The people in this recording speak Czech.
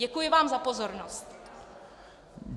Děkuji vám za pozornost.